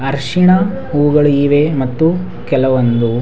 ಅರ್ಶಿಣ ಹೂಗಳು ಇವೆ ಮತ್ತು ಕೆಲವೊಂದು.